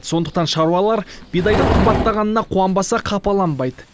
сондықтан шаруалар бидайдың қымбаттағанына қуанбаса қапаланбайды